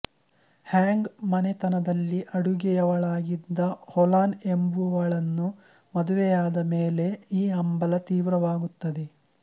ಹ್ಯಾಂಗ್ ಮನೆತನದಲ್ಲಿ ಅಡುಗೆಯವಳಾಗಿದ್ದ ಓಲಾನ ಎಂಬುವಳನ್ನು ಮದುವೆಯಾದ ಮೇಲೆ ಈ ಹಂಬಲ ತೀವ್ರವಾಗುತ್ತದೆ